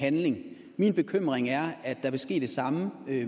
handling min bekymring er at der vil ske det samme